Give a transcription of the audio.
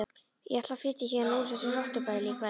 Ég ætla að flytja héðan úr þessu rottubæli í kvöld.